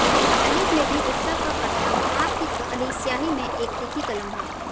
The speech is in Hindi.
कलियुग में भी उत्सव का करतब पाप की काली स्याही में एक तीखी कलम है